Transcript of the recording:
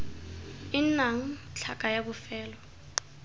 e nnang tlhaka ya bofelo